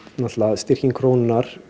styrking krónunnar